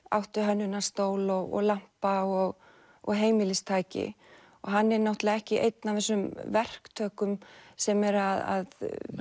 áttu hönnunarstól og lampa og og heimilistæki og hann er náttúrulega ekki einn af þessum verktökum sem eru að